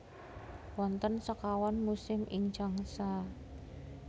Wonten sekawan musim ing Changsa